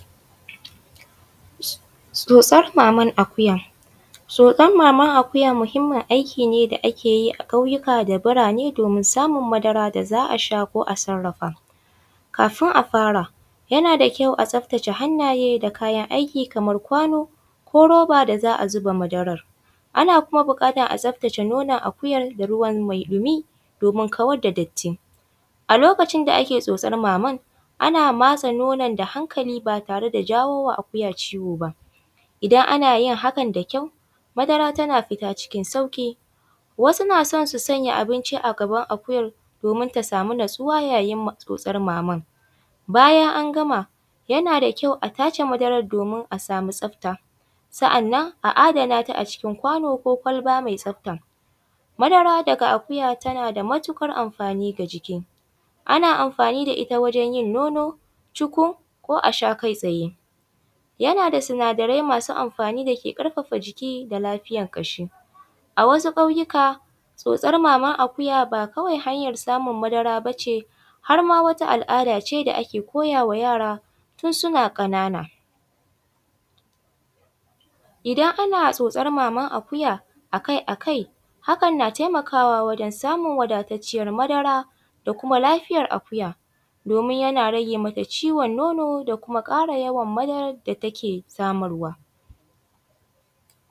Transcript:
Tsotsar maman akuya, tsotsar maman akuyi muhimmin aiki ne da ake yi a ƙauyuka da burane domin samun madara da za a sha ko a sarafa, kafun a fara yana da kyau a tsaftace hannaye da kayan aiki kamar kwano ko roba da za a zuba madarar, ana kuma bukatar a tsaftace nonan akuyan da ruwa mai ɗumi domin kawar da datti, a lokacin da ake tsotsan maman ana matsa nonan da hankali ba tare da jawo wa akuya ciwo ba, idan ana yin hakan da kyau madara tana fita cikin sauki wasu suna so su sanya abinci a gaban akuyan domin ta samu natsuwa yayin tsotsar maman, bayan an gama yana da kyau a tace madaran domin a samu tsafta sannan a adana ta a cikin kwano ko kwalba mai tsafta, madara daga akuya tana da matukar amfani ga jiki ana amfani da ita ta wajen yin nono, cikun ko a sha kai tsaye, yana da sinadarai masu amfani da ke karfafa jiki da lafiyar kashi, a wasu ƙauyuka tsotsar mamar akuya ba kawai hanya samun madara ba ce har ma wata al’ada ce da ake koya wa yara tun suna kanana, idan ana tsotsar maman akuya akai-akai hakan na taimakawa wajen samun wadataccer madara da kuma lafiyar akuya domin yana rage mata ciwon nono da kuma kara yawon madarar da take samarwa.